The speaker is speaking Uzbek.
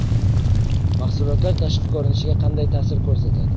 Mahsulotlar tashqi ko‘rinishga qanday ta’sir ko‘rsatadi?.